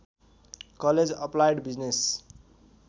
college applied business